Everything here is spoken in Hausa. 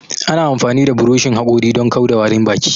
Ana amfani da buroshin haƙori don kau da warin baki